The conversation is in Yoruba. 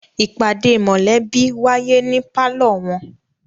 ìpàdé mọ̀lẹ́bí wáyé ní pálọ̀ wọn.